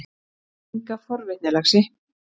Enga forvitni, laxi.